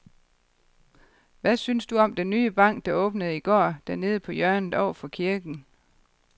Hvad synes du om den nye bank, der åbnede i går dernede på hjørnet over for kirken?